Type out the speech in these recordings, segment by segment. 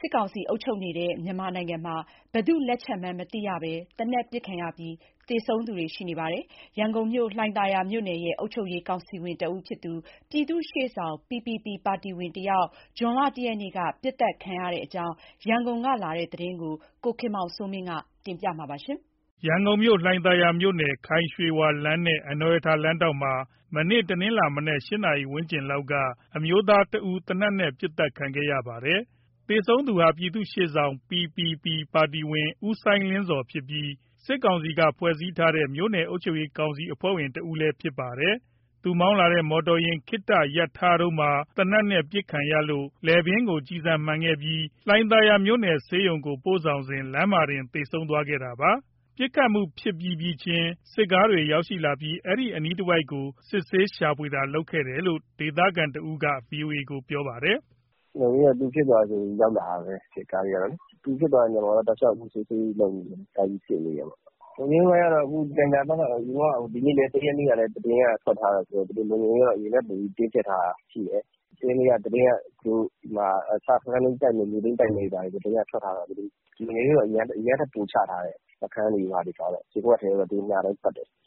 စစ်ကောင်စီအုပ်ချုပ်နေတဲ့ မြန်မာနိုင်ငံမှာဘယ်သူ့လက်ချက်မှန်းမသိရဘဲသေနတ်ပစ်ခံရပြီးသေဆုံးသူတွေ ရှိနေပါတယ်။ ရန်ကုန်မြို့လှိုင်သာယာမြို့နယ်မှာပြည်သူ့ရှေ့ဆောင် PPP ပါတီဝင်တဦး မနေ့တနင်္လာနေ့က ပစ်သတ်ခံခဲ့ရတဲ့အကြောင်း ရန်ကုန်ကလာတဲ့ သတင်းကို ကိုခင်မောင်စိုးမင်းကတင်ပြပါမယ်။ ရန်ကုန်မြို့ လှိုင်သာယာမြို့နယ်၊ ခိုင်ရွှေဝါလမ်းနဲ့ အနော်ရထာလမ်းထောင့်မှာ ဇွန်လ ၁ ရက်နေ့ မနက် ၈နာရီဝန်းကျင်လောက်က အမျိုးသားတဦး သေနတ်နဲ့ ပစ်သတ် ခံခဲ့ရပါတယ်။ သေဆုံးသူဟာ ပြည်သူ့ရှေ့ဆောင် PPP ပါတီဝင် ဦးစိုင်းလင်းဇော်ဖြစ်ပြီး၊ စစ်ကောင်စီက ဖွဲ့စည်းထားတဲ့ မြို့နယ်အုပ်ချုပ်ရေး ကောင်စီအဖွဲ့ဝင် တဦးလည်း ဖြစ်ပါတယ်။ သူမောင်းလာတဲ့ မော်တော်ယာဉ် ခဏရပ်ထားတုန်းမှာ သေနတ်နဲ့ ပစ်ခံရလို့ လည်ပင်းကို ကျည်ဆန်မှန်ခဲ့ပြီး၊ လှိုင်သာယာမြို့နယ်ဆေးရုံကို ပို့ဆောင်စဉ် လမ်းမှာတင် သေဆုံးသွားခဲ့တာပါ။ ပစ်ခတ်မှု ဖြစ်ပြီးပြီးချင်း စစ်ကားတွေရောက်လာပြီး အဲဒီအနီးတဝိုက်ကို စစ်ဆေးရှာဖွေတာတွေလုပ်ခဲ့တယ်လို့ ဒေသခံတဦးက VOA ကိုပြောပါတယ်။ “သူအပစ်ခံရတာနဲ့ ရောက်လာတာပဲ စစ်ကားတွေက။ သူဖြစ်သွားတဲ့နေရာမှာ တောက်လျှောက်စစ်ဆေးရေးတွေ လုပ်တယ်။ လုံခြုံရေးပိုင်းကတော့ အခု လှိုင်သာယာဘက်မှာ ၁ရက်နေ့ဆိုပြီး သတင်းကထွက်ထားတာဆိုတော့ သူတို့အရင်ကထက် လုံခြုံရေးတင်းကြပ်ထားတာ ရှိတယ်။ စခန်းသိမ်းတိုက်မယ်၊ မြို့သိမ်းတိုက်မယ် သတင်းကထွက်ထားတော့ လုံခြုံရေးအရင်ကထက် ပိုချထားတယ်။ ရပ်ကွက်ထဲလည်း သူတို့ညတိုင်းပတ်တယ်။”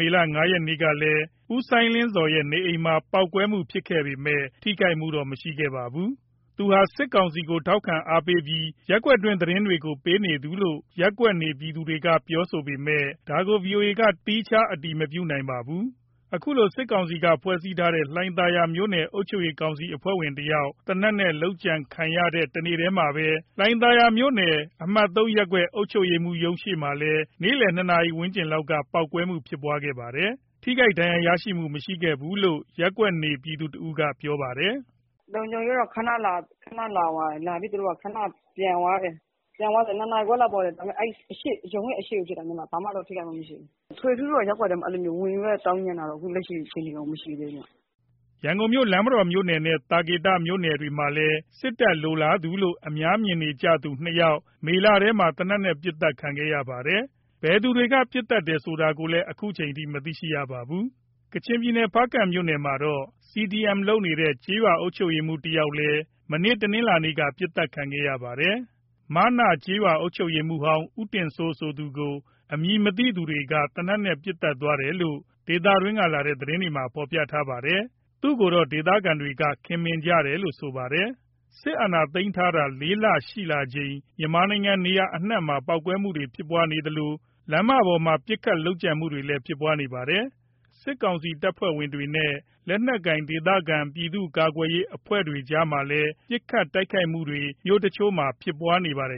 မေလ ၅ ရက်နေ့ကလည်း ဦးစိုင်းလင်းဇော်ရဲ့ နေအိမ်မှာ ပေါက်ကွဲမှုဖြစ်ခဲ့ပေမဲ့ ထိခိုက်မှုတော့ မရှိခဲ့ပါဘူး။ သူဟာ စစ်ကောင်စီကို ထောက်ခံအားပေးပြီး ရပ်ကွက်တွင်းသတင်းတွေကို ပေးနေသူလို့ ရပ်ကွက်နေပြည်သူတွေက ပြောပေမဲ့ ဒါကို ဗွီအိုအေက သီးခြားအတည်မပြုနိုင်ပါဘူး။ အခုလို စစ်ကောင်စီက ဖွဲ့စည်းထားတဲ့ လှိုင်သာယာ မြို့နယ်အုပ်ချုပ်ရေး ကောင်စီအဖွဲ့ဝင်တယောက် သေနတ်နဲ့ လုပ်ကြံခံရတဲ့ တနေ့ထဲမှာပဲ လှိုင်သာယာမြို့နယ်၊ အမှတ် ၃ ရပ်ကွက် အုပ်ချုပ်ရေးမှူး ရုံးရှေ့မှာလည်း နေ့လည် ၂နာရီခွဲ ဝန်းကျင်လောက်မှာ ပေါက်ကွဲမှုဖြစ်ခဲ့ပါတယ်။ ထိခိုက်ဒဏ်ရာရသူတော့ မရှိခဲ့ဘူးလို့ ရပ်ကွက်နေပြည်သူတဦးက ပြောပါတယ်။ “လုံခြုံရေးကတော့ ခဏလာသွားတယ်။ လာပြီးခဏပဲ ပြန်သွားတယ်။ နေ့လည် ၂ နာရီခွဲလောက် ပေါက်တယ်။ အဲဒီ ရုံးရဲ့အရှေ့မှာ ဖြစ်တာ၊ ဘာမှထိခိုက်မှုတော့ မရှိဘူး။ ထွေထွေထူးထူးတော့ ရပ်ကွက်ထဲဝင်သောင်းကျန်းတာတော့ လက်ရှိအချိန်ထိတော့ မရှိသေးဘူး။” ရန်ကုန်မြို့ လမ်းမတော်မြို့နယ်နဲ့ သာကေတမြို့နယ်တွေမှာလည်း စစ်တပ်လိုလားသူလို့ အများမြင်ကြသူ ၂ ယောက် မေလထဲမှာပဲ သေနတ်နဲ့ ပစ်သတ်ခံခဲ့ရပါတယ်။ ဘယ်သူတွေက ပစ်သတ်သလဲဆိုတာလည်း ခုထိ မသိရပါဘူး။ ကချင်ပြည်နယ် ဖားကန့်မြို့နယ်မှာတော့ CDM လုပ်နေတဲ့ ကျေးရွာအုပ်ချုပ်ရေးမှူးဟောင်းတယောက် မေလ ၃၁ ရက်က ပစ်သတ်ခံရပါတယ်။ မနကျေးရွာအုပ်ချုပ်ရေးမှူးဟောင်း ဦးတင်စိုးဆိုသူကို အမည်မသိသူတွေက သေနတ်နဲ့ ပစ်သတ်သွားတယ်လို့ ဒေသတွင်းကလာတဲ့ သတင်းတချို့မှာ ဖော်ပြပါတယ်။ သူ့ကိုတော့ ဒေသခံတွေက ခင်မင်ကြတယ်လို့ဆိုပါတယ်။ စစ်အာဏာသိမ်းထားတာ ၄ လ ရှိလာချိန် မြန်မာနိုင်ငံနေရာ အနံှ့မှာ ပေါက်ကွဲမှုတွေ ဖြစ်နေသလို လမ်းမပေါ်မှာ ပစ်ခတ် လုပ်ကြံမှုတွေလည်း ဖြစ်နေပါတယ်။ စစ်ကောင်စီတပ်ဖွဲ့ဝင်တွေနဲ့ လက်နက်ကိုင် ဒေသခံ ပြည်သူ့ကာကွယ်ရေး အဖွဲ့တွေကြားမှာလည်း ပစ်ခတ်တိုက်ခိုက်မှုတွေ မြို့တချို့မှာ ဖြစ်ပွားနေပါတယ်